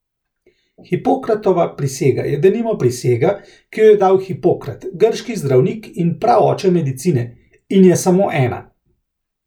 Hipokratova prisega je denimo prisega, ki jo je dal Hipokrat, grški zdravnik in praoče medicine, in je samo ena.